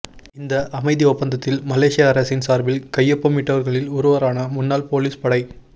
இந்த அமைதி ஒப்பந்தத்தில் மலேசிய அரசின் சார்பில் கையொப்பமிட்டவர்களில் ஒருவரான முன்னாள் போலீஸ் படைத்